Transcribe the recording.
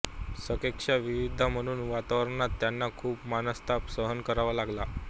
सकेशा विधवा म्हणून वावरताना त्यांना खूप मनस्ताप सहन करावा लागला